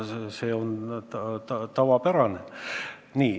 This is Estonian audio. See on tavapärane.